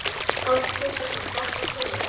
Páll Ketilsson: Svartar tölur?